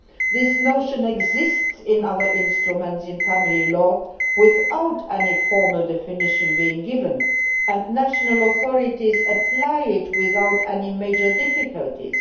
this notion exists in other instruments in family law without any formal definition being given, and national authorities apply it without any major difficulties.